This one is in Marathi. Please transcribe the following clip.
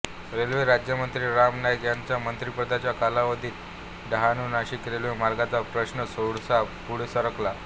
रेल्वे राज्यमंत्री राम नाईक यांच्या मंत्रिपदाच्या कालावधीत डहाणूनाशिक रेल्वे मार्गाचा प्रश्न थोडासा पुढे सरकला